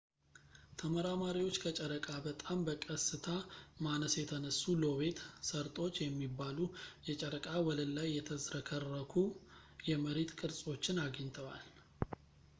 ተመራማሪዎች ከጨረቃ በጣም በቀስታ ማነስ የተነሱ ሎቤት ሰርጦች የሚባሉ የጨረቃ ወለል ላይ የተዝረከረኩ የመሬት ቅርፆችን አግኝተዋል